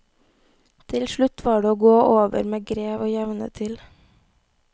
Til slutt var det å gå over med grev og jevne til.